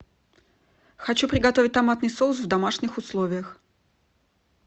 хочу приготовить томатный соус в домашних условиях